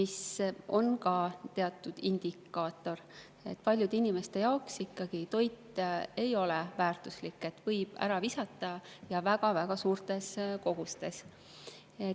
See on ka teatud indikaator, et paljude inimeste jaoks ikkagi toit ei ole väärtuslik, seda võib ära visata, ja väga-väga suurtes kogustes.